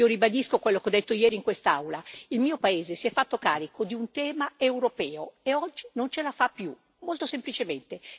Io ribadisco quello che ho detto ieri in quest'Aula il mio paese si è fatto carico di un tema europeo, e oggi non ce la fa più, molto semplicemente.